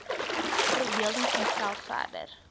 verbeelding vanself verder